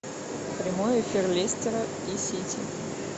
прямой эфир лестера и сити